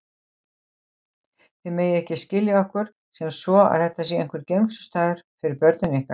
Þið megið ekki skilja okkur sem svo að þetta sé einhver geymslustaður fyrir börnin ykkar.